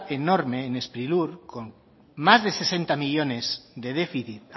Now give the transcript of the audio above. enorme en sprilur con más de sesenta millónes de déficit